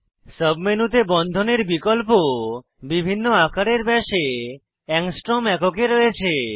sub মেনুতে বন্ধনের বিকল্প বিভিন্ন আকারের ব্যাসে অ্যাংস্ট্রম এককে রয়েছে